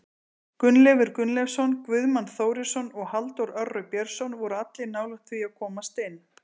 Gunnleifur Gunnleifsson, Guðmann Þórisson og Halldór Orri Björnsson voru allir nálægt því að komast inn.